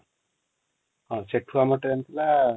ହଁ ସେଠୁ ଆମ ଟ୍ରେନ ଥିଲା |